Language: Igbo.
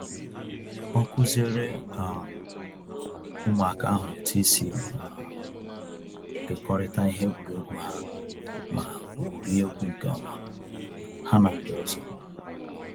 Ọ kuziere um ụmụaka ahụ otu isi um kekọrịta ihe egwuregwu ha ma gwuriegwu nke ọma ha na ndị ọzọ